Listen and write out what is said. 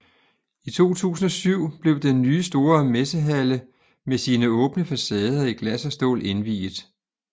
I 2007 blev den nye store messehalle med sine åbne facader i glas og stål indviet